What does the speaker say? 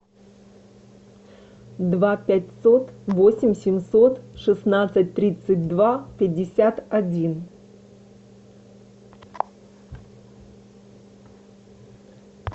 два пятьсот восемь семьсот шестнадцать тридцать два пятьдесят один